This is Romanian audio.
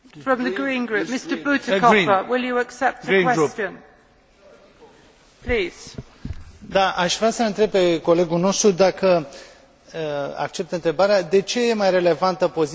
Aș vrea să l întreb pe colegul nostru, dacă acceptă întrebarea, de ce e mai relevantă poziția ambasadorului Chinei în această privință decât dorința noastră de a vorbi despre ceea ce se întâmplă în Tibet,